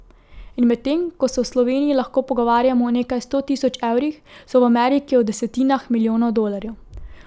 In medtem ko se v Sloveniji lahko pogovarjamo o nekaj sto tisoč evrih, se v Ameriki o desetinah milijonov dolarjev.